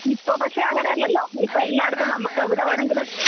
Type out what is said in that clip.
ഇപ്പൊ പക്ഷെ അങ്ങനെയല്ലലോ ഇപ്പോൾ എല്ലാടത്തും നമ്മക്ക് എവിടെ വേണമെങ്കിലും